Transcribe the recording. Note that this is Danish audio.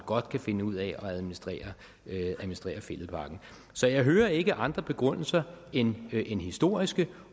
godt kan finde ud af at administrere fælledparken så jeg hører ikke andre begrundelser end historiske